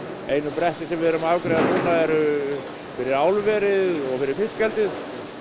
einu brettin sem við erum að afgreiða núna eru fyrir álverið og fyrir fiskeldið